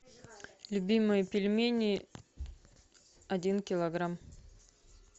любимые пельмени один килограмм